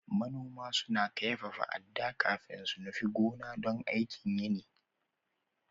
Manoma suna kaifafa adda kafin su nufi gona don aikin yini.